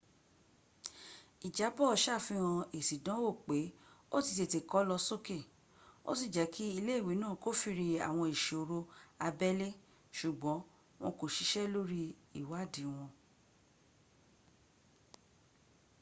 ìjábọ̀ ṣàfihàn èsì ìdánwó pé ó ti tètè lọ sókè ò sí jẹ́ kí ilé ìwé náà kófìrí àwọn ìṣòro abẹ́lé ṣùgbọ́n wọn kò ṣiṣk lórí ìwádìí wọn